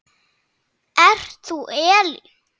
Ert þú Elín?